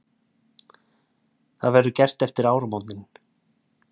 Það verður gert eftir áramótin